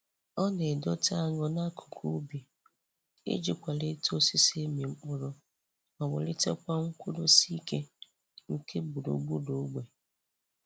Ọ na-edote añụ n'akụkụ ubi iji kwalite osisi ịmị mkpụrụ ma wulitekwa nkwudosi ike nke gburu gburuogbe.